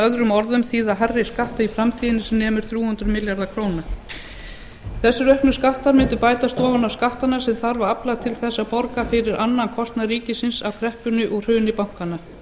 öðrum orðum þýða hærri skatta í framtíðinni sem nemur þrjú hundruð milljörðum króna þessir auknu skattar mundu bætast ofan á skattana sem þarf að afla til þess að borga fyrir annan kostnað ríkisins af kreppunni og hruni bankanna